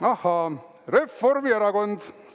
Ahaa, Reformierakond!